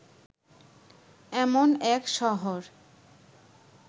এমন এক শহর